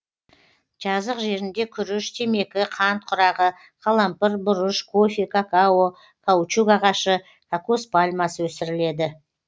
жазық жерінде күріш темекі қант құрағы қалампыр бұрыш кофе какао каучук ағашы кокос пальмасы өсіріледі